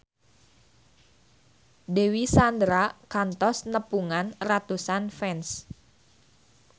Dewi Sandra kantos nepungan ratusan fans